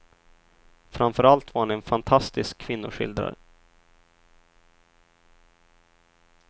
Framför allt var han en fantastisk kvinnoskildrare.